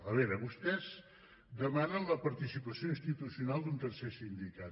a veure vostès demanen la participació institucional d’un tercer sindicat